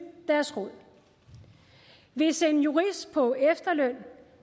deres råd hvis en jurist på efterløn